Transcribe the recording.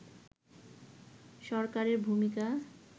সরকারের ভূমিকা